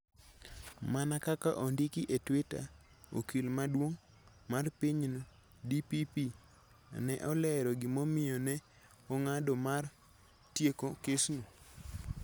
Mana kaka ondiki e Twitter, okil maduong' mar pinyno (DPP) ne olero gimomiyo ne ong'ado mar tieko kesno: